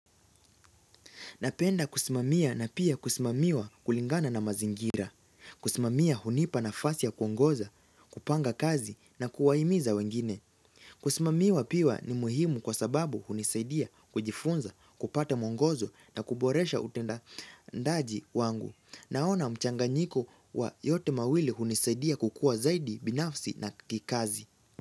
Napenda kusimamia na pia kusimamiwa kulingana na mazingira. Kusimamia hunipa nafasi ya kuongoza, kupanga kazi na kuwahimiza wengine. Kusimamiwa pia ni muhimu kwa sababu hunisaidia kujifunza, kupata mwongozo na kuboresha utendaji wangu. Naona mchanganyiko wa yote mawili hunisaidia kukua zaidi binafsi na kikazi.